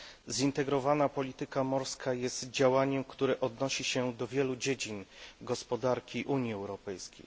Zintegrowana polityka morska jest działaniem, które odnosi się do wielu dziedzin gospodarki Unii Europejskiej.